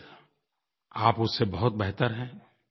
एक आप उससे बहुत बेहतर हैं